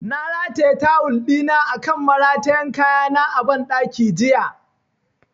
Na rataya tawul ɗina akan maratayan kaya na ban ɗaki jiya